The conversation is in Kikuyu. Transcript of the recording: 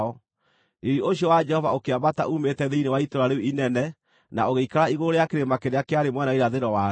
Riiri ũcio wa Jehova ũkĩambata uumĩte thĩinĩ wa itũũra rĩu inene na ũgĩikara igũrũ rĩa kĩrĩma kĩrĩa kĩarĩ mwena wa irathĩro warĩo.